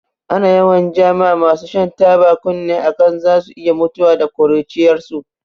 Ana yawan ja ma masu shan taba kunne a kan zasu iya mutuwa da ƙuruciyarsu.